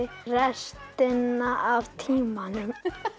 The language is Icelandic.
restina af tímanum